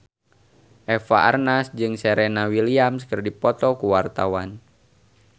Eva Arnaz jeung Serena Williams keur dipoto ku wartawan